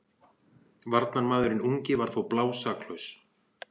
Varnarmaðurinn ungi var þó blásaklaus.